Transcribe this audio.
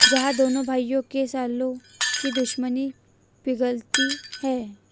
जहां दोनों भाइयों के सालों की दुश्मनी पिघलती है